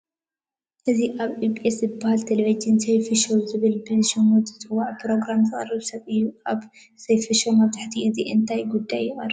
እዚ ኣብ ኢቢኤስ ዝበሃል ቴለብዥን ሰይፉ ሸው ዝበሃል ብሽሙ ዝፅዋዕ ፕሮግራም ዘቕርብ ሰብ እዩ፡፡ ኣብ ሰይፉ ሸው መብዛሕትኡ ግዜ እንታይ ጉዳያት ይቐርቡ?